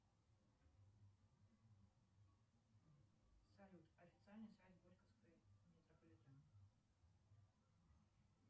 салют официальный сайт горьковский метрополитен